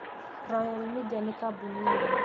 Royal Media nĩ kambuni nene